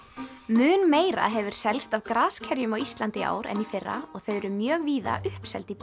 mun meira hefur selst af graskerjum á Íslandi í ár en í fyrra og þau eru mjög víða uppseld í